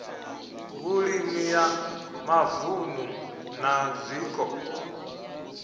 vhulimi ya mavunu na zwiko